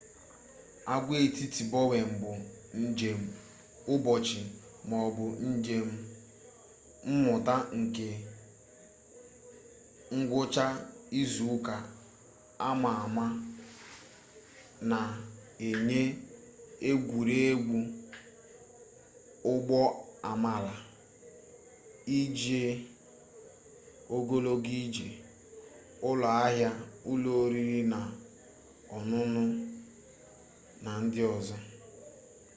agwaetiti bowen bụ njem ụbọchị maọbụ njem mmụta nke ngwụcha izuụka ama ama na-enye egwuregwu ụgbọamala ije ogologo ije ụlọahịa ụlọ oriri na ọn̄ụn̄ụ na ndi ozo